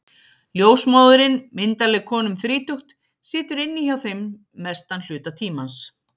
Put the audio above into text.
Ljósmóðirin, myndarleg kona um þrítugt, situr inni hjá þeim mestan hluta tímans.